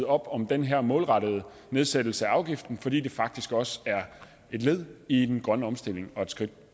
op om den her målrettede nedsættelse af afgiften fordi det faktisk også er et led i den grønne omstilling og et skridt